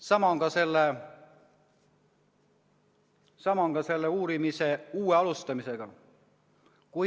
Sama on ka selle uue uurimise alustamisega.